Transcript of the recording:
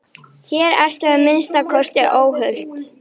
Hér ertu að minnsta kosti óhult.